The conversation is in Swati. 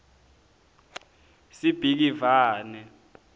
sibhikivane